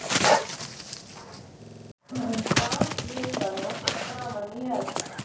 Hann rak vindlana framan í Örn.